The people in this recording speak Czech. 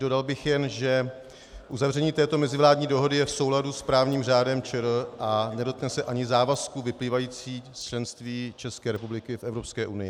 Dodal bych jen, že uzavření této mezivládní dohody je v souladu s právním řádem ČR a nedotkne se ani závazků vyplývajících z členství České republiky v Evropské unii.